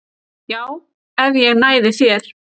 Já, ef ég næði þér